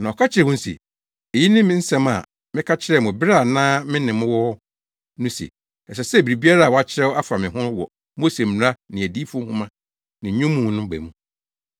Na ɔka kyerɛɛ wɔn se, “Eyi ne me nsɛm a meka kyerɛɛ mo bere a na me ne mo wɔ hɔ no se, ɛsɛ sɛ biribiara a wɔakyerɛw afa me ho wɔ Mose Mmara ne Adiyifo nhoma ne Nnwom mu no ba mu.”